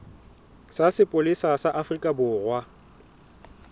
sa sepolesa sa afrika borwa